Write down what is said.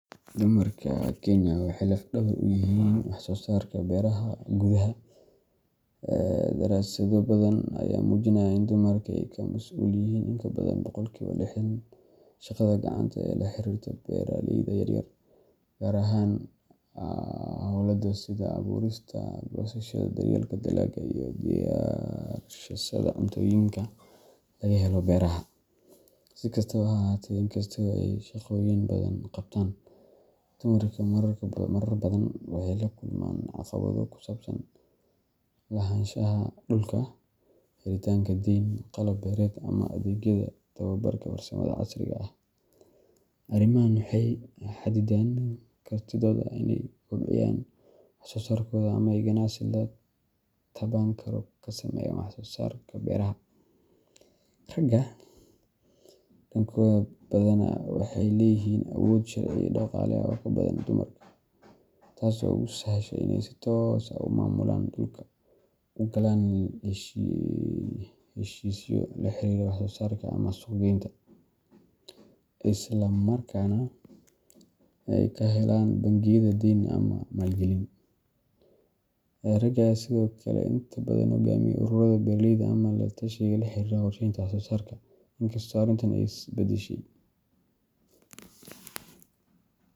Dumarka Kenya waxa lafdawar u yahin wax sosarka beeraha kuthaa darasada bathan aya mujinayo in dumarku masuliyin intabathan boqolku lexdan, shada kacanta laxarirtoh beeraleyda yaryar kar ahaan hola kososhada aburista dalaga iyo xisada cuntoyinga lagaheloh beeraha, sikastabo ha ahaateh ugu qabtaan dumarka mararka bathan oo kusabsan lahanshaa dulka helitanga qalabka amah athegyada towabara casirka setha arimaha waxay kartithot inay waxsosarkotha tabanko kasameeyan wax sosarkotha dadaka beeraha raga dangotha bathana waxayleeyahin awood iyoko daqalo ugu bathan dumar taasi u sahashay Ina mamulan dulka ugalan heshisyo waxay sosarka amah suqqgeynta islamarkana aykahelan bankiyada deeni malkalin oo raga sethokali intabathan kugamiya beeraleyda amah latashika iyo waxsosarka inkastoo oo isbadashay .